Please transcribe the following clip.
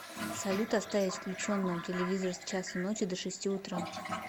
салют оставить включенным телевизор с часу ночи до шести утра